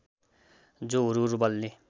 जो हुरहुर बल्ने